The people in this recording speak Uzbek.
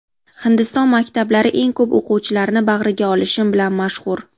Hindiston maktablari eng ko‘p o‘quvchilarni bag‘riga olishi bilan mashhur.